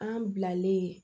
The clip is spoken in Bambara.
An bilalen